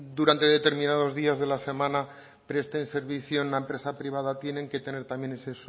durante determinados días de la semana presten servicio en la empresa privada tienen que tener también ese